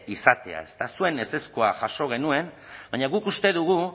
izatea zuen ezezkoa jaso genuen baina guk uste dugu